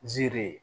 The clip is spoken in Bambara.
Nziri ye